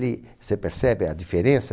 Você percebe a diferença?